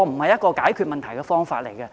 這不是解決問題的方法。